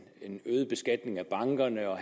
øget beskatning af bankerne og